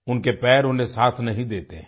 उनके पैर उन्हें साथ नहीं देते हैं